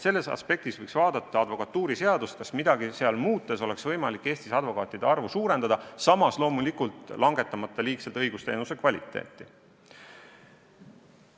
Sellest aspektist võiks vaadata advokatuuriseadust: kas midagi seal muutes oleks võimalik Eestis advokaatide arvu suurendada, samas loomulikult langetamata muude õigusteenuse kvaliteeti.